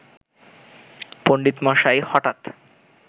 পণ্ডিতমশাই হঠাৎ